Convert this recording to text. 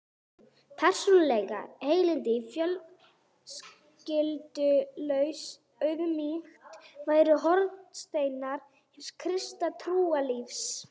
Persónuleg heilindi og fölskvalaus auðmýkt væru hornsteinar hins kristna trúarlífs.